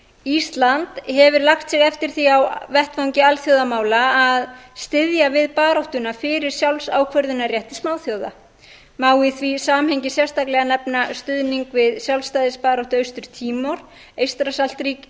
ísland hefur lagt sig eftir því á vettvangi alþjóðamála að styðja við baráttuna fyrir sjálfsákvörðunarrétti smáþjóða má í því samhengi sérstaklega nefna stuðning við sjálfstæðisbaráttu austur tímor eystrasaltsríkin